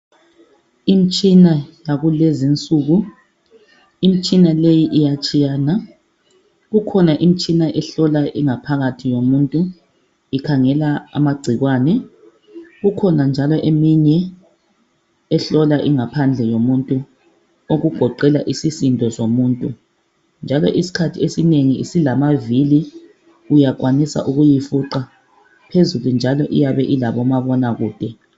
Imtshina yakulezi nsuku . Imitshina le iyatshiyana . Kukhona imitshina ehlola ingaphakathi yomuntu ikhangela amagcikwane. Kukhona njalo eminye ehlola ingaphandle yomuntu. Okugoqela isisindo somuntu, njalo isikhathi esinengi isilamavili . Uyakwanisa ukuyifuqa , phezulu njalo iyabe ilabo mabonakude.